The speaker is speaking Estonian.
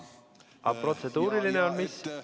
Aga protseduuriline on mis?